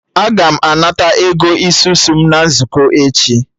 Aga m anata Ego isusu m na nzukọ echi